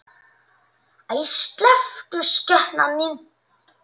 Æi, slepptu skepnan þín!